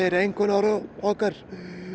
í einkunnarorðum okkar